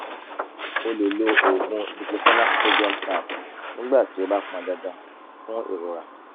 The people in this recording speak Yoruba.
o lè lo oògùn diclofenac sodium tab nígbà tí ó bá pọn dandan fún ìrora